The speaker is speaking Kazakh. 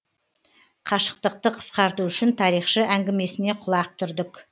қашықтықты қысқарту үшін тарихшы әңгімесіне құлақ түрдік